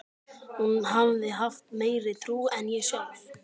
Hún hafði haft meiri trú en ég sjálf.